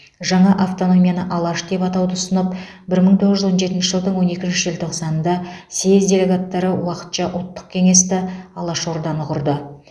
жаңа автономияны алаш деп атауды ұсынылып бір мың тоғыз жүз он жетінші жылдың он екінші желтоқсанында съез делегаттары уақытша ұлттық кеңесті алаш орданы құрды